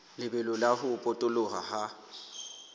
lebelo la ho potoloha ha